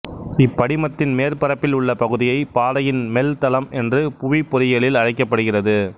இப்படிமத்தின் மேற்பரப்பில் உள்ள பகுதியை பாறையின் மெல் தளம் என்று புவி பொறியியலில் அழைக்கப்படுகிறது